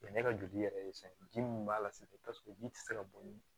ne ka joli yɛrɛ ye fɛn ye ji min b'a la sisan paseke ji tɛ se ka boli